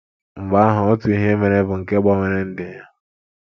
Mgbe ahụ, otu ihe mere bụ́ nke gbanwere ndụ ya.